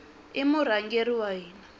i murhangeri wa hina